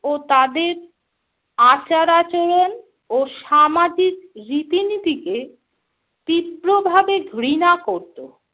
ও তাদের আচার-আচরণ ও সামাজিক রীতিনীতিকে তীব্রভাবে ঘৃণা করতো।